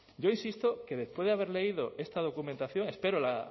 yo insisto que después de haber leído esta documentación espero